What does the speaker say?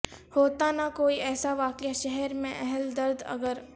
ہوتا نہ کوئی ایسا واقعہ شہر میں اہل درد اگر